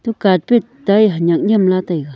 eto carpet ta hanyak nyemla taiga.